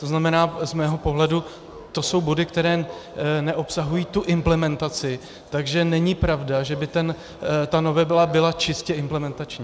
To znamená, z mého pohledu to jsou body, které neobsahují tu implementaci, takže není pravda, že by ta novela byla čistě implementační.